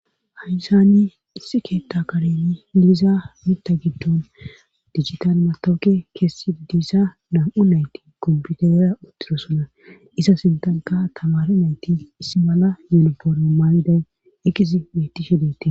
Hayysani isse keetta kareni liiza mita giddon digital matawuke keessi diissa nam"u nayti kombiteera uttiro sona isa sintanka tamaru nayti issi mala yelopooro maayidan iqqisi meetishedete